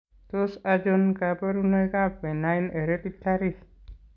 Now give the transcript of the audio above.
Tos achon kabarunaik ab Benign hereditary?